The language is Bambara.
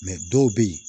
dɔw bɛ yen